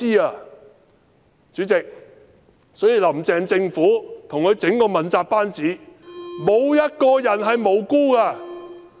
因此，主席，"林鄭"政府及其整個問責班子沒有一個人是無辜的。